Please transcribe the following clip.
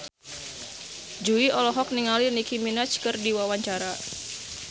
Jui olohok ningali Nicky Minaj keur diwawancara